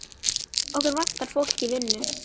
Okkur vantar fólk í vinnu.